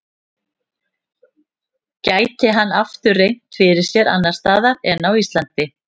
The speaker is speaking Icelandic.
Gæti hann aftur reynt fyrir sér annars staðar en á Íslandi?